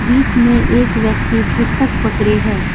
बीच में एक व्यक्ति पुस्तक पकड़े है।